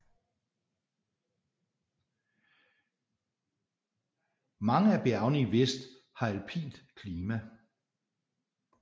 Mange af bjergene i vest har alpint klima